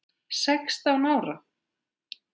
Sextán ára?